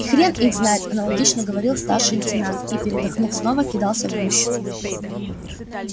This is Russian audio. и хрен их знает аполитично говорил старший лейтенант и передохнув снова кидался в гущу